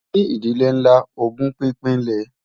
ní ìdílé nlá, ògún pínpín lè